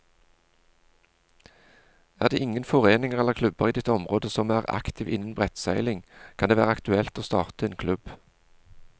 Er det ingen foreninger eller klubber i ditt område som er aktive innen brettseiling, kan det være aktuelt å starte en klubb.